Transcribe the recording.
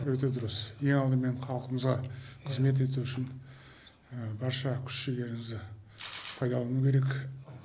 өте дұрыс ең алдымен халқымызға қызмет ету үшін барша күш жігеріңізді пайдалану керек